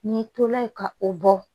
N'i tola yen ka o bɔ